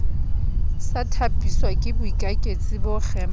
sa thapiswake boikaketsi bo kgemang